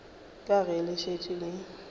ka ge le šetše le